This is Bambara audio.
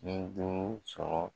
Ni duuru sɔrɔ